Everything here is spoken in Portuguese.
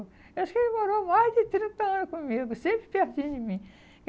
Eu acho que ele morou mais de trinta anos comigo, sempre pertinho de mim.